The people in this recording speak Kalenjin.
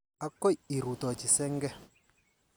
Akoi irutochi senge.